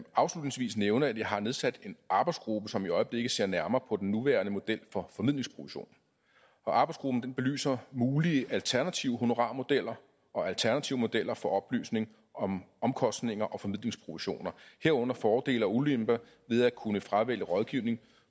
afslutningsvis nævne at jeg har nedsat en arbejdsgruppe som i øjeblikket ser nærmere på den nuværende model for formidlingsprovision arbejdsgruppen belyser mulige alternative honorarmodeller og alternative modeller for oplysning om omkostninger og formidlingsprovisioner herunder fordele og ulemper ved at kunne fravælge rådgivning